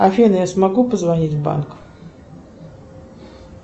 афина я смогу позвонить в банк